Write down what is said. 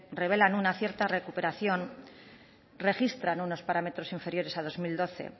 revelan una cierta recuperación registran unos parámetros inferiores a dos mil doce